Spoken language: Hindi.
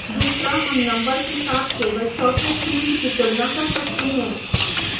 दूसरा हम number के साथ केवल चौथे field की तुलना कर सकते हैं